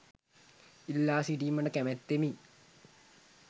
ඉල්ලා සිටීමට කැමැත්තමි